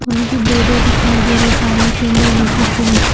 वहां पे दो-दो दिखाई दे रहे हैं पानी के अंदर उनकी चोंच-- .